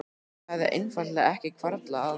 Það hafði einfaldlega ekki hvarflað að mér.